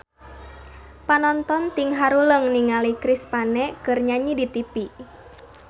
Panonton ting haruleng ningali Chris Pane keur nyanyi di tipi